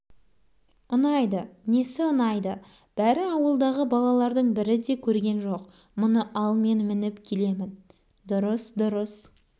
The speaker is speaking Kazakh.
ұнайды несі ұнайды бәрі ауылдағы балалардың бірі де көрген жоқ мұны ал мен мініп келемін дұрыс-дұрыс